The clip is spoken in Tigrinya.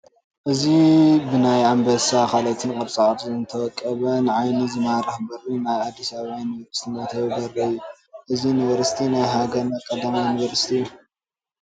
እዚ ብናይ ኣምበሳን ካልኦት ቅርፃ ቅርፅን ዝወቀበ ንዓይኒ ዝማርኽ በሪ ናይ ኣዲስ ኣባባ ዩኒቨርሲቲ መእተዊ በሪ እዩ፡፡ እዚ ዩኒቨርሲቲ ናይ ሃገርና ቀዳማይ ዩኒቨርሲቲ እዩ፡፡